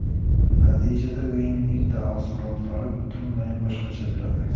Natijada, o‘yinning taassurotlari butunlay boshqacha bo‘ladi.